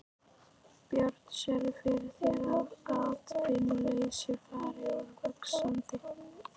Björn: Sérðu fyrir þér að atvinnuleysi fari nú vaxandi?